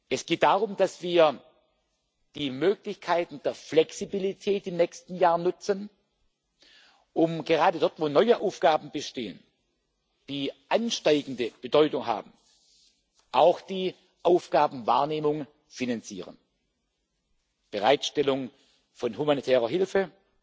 Es geht darum, dass wir die Möglichkeiten der Flexibilität im nächsten Jahr nutzen, um gerade dort, wo neue Aufgaben bestehen, die ansteigende Bedeutung haben, auch die Aufgabenwahrnehmung zu finanzieren Bereitstellung von humanitärer Hilfe,